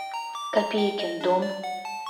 копейкин дом